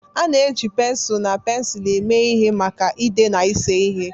A na-eji pensụl na pensụl eme ihe maka ide na ịse ihe.